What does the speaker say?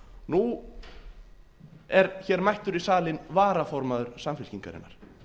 nú er hér mættur í salinn varaformaður samfylkingarinnar